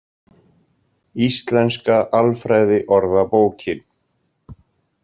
Íslenska Alfræði Orðabókin.